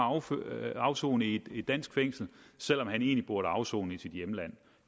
at afsone i et dansk fængsel selv om han egentlig burde afsone i sit hjemland